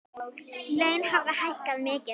Laun hafi hækkað mikið.